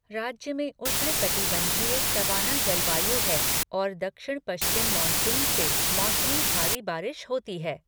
राज्य में उष्णकटिबँधीय सवाना जलवायु है और दक्षिण पश्चिम मानसून से मौसमी भारी बारिश होती है।